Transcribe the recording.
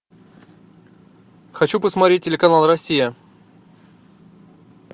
хочу посмотреть телеканал россия